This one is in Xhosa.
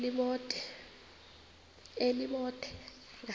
elibode